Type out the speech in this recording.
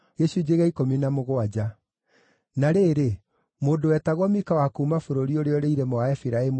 Na rĩrĩ, mũndũ wetagwo Mika wa kuuma bũrũri ũrĩa ũrĩ irĩma wa Efiraimu